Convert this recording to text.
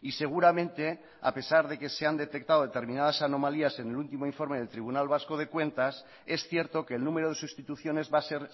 y seguramente a pesar de que se han detectado determinadas anomalías en el último informe del tribunal vasco de cuentas es cierto que el número de sustituciones va a ser